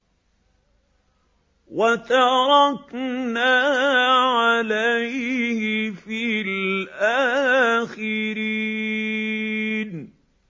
وَتَرَكْنَا عَلَيْهِ فِي الْآخِرِينَ